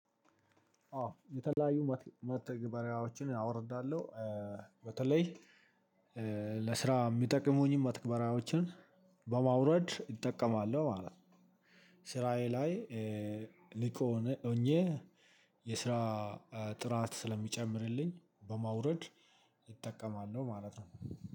አዎ የተለያዩ መተግበሪያዎችን አወርዳለሁ በተለይ ለስራ የሚጠቅሙኝን መተግበሪያዎችን በማውረድ እጠቀማለሁ ማለት ነው። ስራዬ ላይ ንቁ ሆኜ የስራ ጥራት ስለሚጨምርልኝ በማውረድ እጠቀማለሁ ማለት ነው።